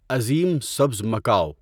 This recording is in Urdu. عظیم سبز مکاو